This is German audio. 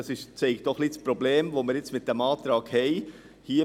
Das Problem, das wir jetzt mit dem Antrag haben, zeigt es auch ein wenig: